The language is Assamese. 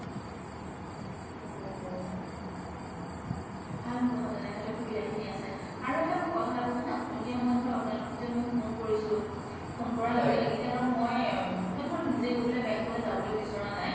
ঔ ভাল কথা তেনেহলে সুবিধা খিনি আছে আৰু এটা মোক কথা এটা কওক্চোন এতিয়া মই ধৰক আপোনালোক যে phone কৰিছো phone কৰাৰ লগে লগে এতিয়া ধৰক ময়ে নিজে গৈ পেলাই bank লে বিচৰা নাই